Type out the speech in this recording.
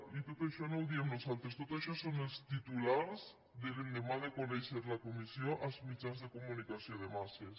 i tot això no ho diem nosaltres tot això són els titulars de l’endemà de conèixer la comissió als mitjans de comunicació de masses